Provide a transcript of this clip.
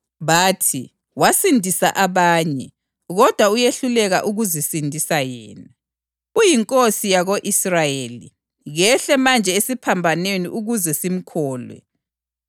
Bathi, “Wasindisa abanye, kodwa uyehluleka ukuzisindisa yena! UyiNkosi yako-Israyeli! Kehle manje esiphambanweni ukuze simkholwe.